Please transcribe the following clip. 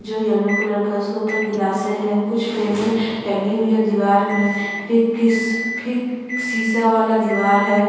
जो yellow colour का उसके ऊपर ग्लासे है कुछ फ्रेमे टंगी हुई है दीवार में फिर किश फिर सीसा वाला दीवार है।